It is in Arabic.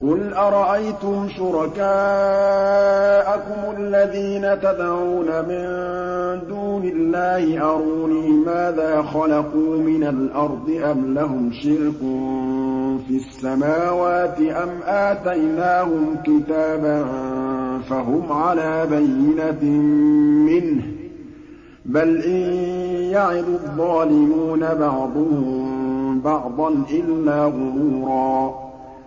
قُلْ أَرَأَيْتُمْ شُرَكَاءَكُمُ الَّذِينَ تَدْعُونَ مِن دُونِ اللَّهِ أَرُونِي مَاذَا خَلَقُوا مِنَ الْأَرْضِ أَمْ لَهُمْ شِرْكٌ فِي السَّمَاوَاتِ أَمْ آتَيْنَاهُمْ كِتَابًا فَهُمْ عَلَىٰ بَيِّنَتٍ مِّنْهُ ۚ بَلْ إِن يَعِدُ الظَّالِمُونَ بَعْضُهُم بَعْضًا إِلَّا غُرُورًا